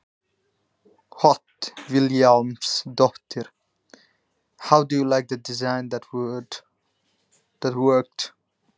Hödd Vilhjálmsdóttir: Hvernig líst þér á hönnunina sem að vann?